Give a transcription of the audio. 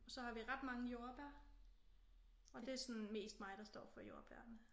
Og så har vi ret mange jordbær og det er sådan mest mig der står for jordbærene